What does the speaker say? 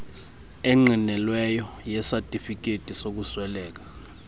engqinelweyo yesatifiketi sokusweleka